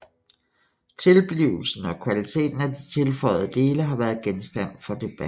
Tilblivelsen og kvaliteten af de tilføjede dele har været genstand for debat